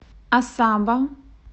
асаба